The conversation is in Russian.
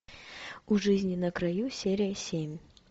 у жизни на краю серия семь